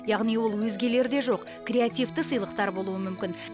яғни ол өзгелерде жоқ креативті сыйлықтар болуы мүмкін